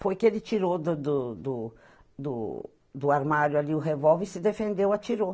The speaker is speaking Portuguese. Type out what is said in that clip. Foi que ele tirou do do do do do armário ali o revolver e se defendeu, atirou.